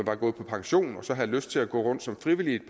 er gået på pension og har lyst til at gå rundt som frivillig et